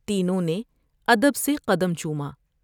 تینوں نے ادب سے قدم چوما ۔